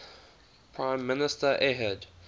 prime minister ehud